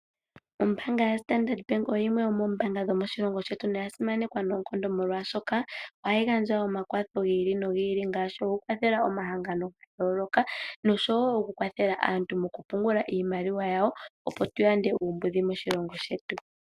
Ombaanga yaStandard Bank oyo yimwe yomoombaanga dhomoshilongo shetu noya simanekwa noonkondo, molwashoka ohayi gandja omakwatho gi ili nogi ili, ngaashi okukwathela omahangano ga yooloka nosho wo okukwathela aantu mokupungula iimaliwa yawo, opo tu yande uumbudhi moshilongo shetu.